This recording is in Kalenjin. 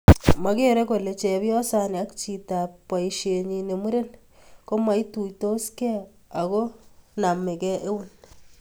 Mokerei kole cheyosani ak chitap boisienyi ne muren komoituitoskei ako namkei eun